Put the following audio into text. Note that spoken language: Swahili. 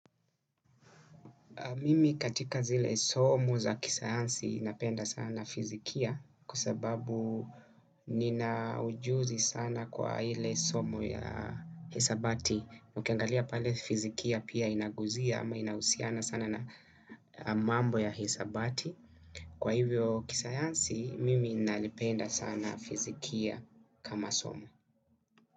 Mimi katika zile somo za kisayansi napenda sana fizikia kwa sababu nina ujuzi sana kwa ile somo ya hisabati. Ukiangalia pale fizikia pia inaguzia ama inahusiana sana na mambo ya hisabati. Kwa hivyo kisayansi, mimi nalipenda sana fizikia kama somo.